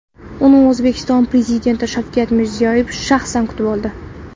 Uni O‘zbekiston Prezidenti Shavkat Mirziyoyev shaxsan kutib oldi .